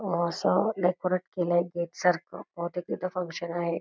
असं डेकोरेट केलय गेट सारखं बहुतेक तिथे फ़ंक्शन आहे.